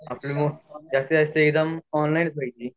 आपली बहुत जसित जास्त एग्जाम ऑनलाइन च वयाची